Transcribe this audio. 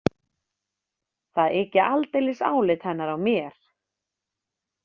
Það yki aldeilis álit hennar á mér.